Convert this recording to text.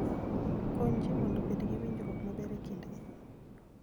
Kony ji mondo obed gi winjruok maber e kindgi.